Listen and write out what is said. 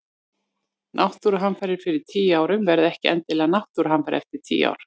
Náttúruhamfarir fyrir tíu árum verða ekki endilega náttúruhamfarir eftir tíu ár.